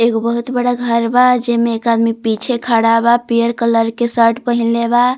एक बहुत बड़ा घर बा जेमें एक आदमी पीछे खड़ा बा पियर कलर के शर्ट पहिनले बा।